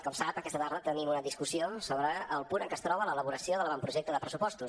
com sap aquesta tarda tenim una discussió sobre el punt en què es troba l’elaboració de l’avantprojecte de pressupostos